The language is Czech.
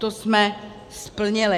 To jsme splnili.